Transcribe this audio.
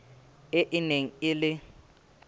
e e neng e le